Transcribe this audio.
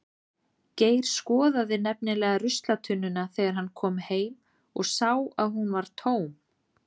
Geir skoðaði nefnilega ruslatunnuna þegar hann kom heim og sá að hún var tóm.